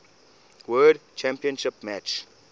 world championship match